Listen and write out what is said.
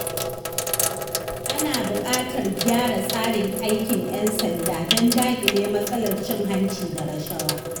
Ana buƙatar gyara tsarin aikin ƴan sanda don daƙile matsalar cin hanci da rashawa.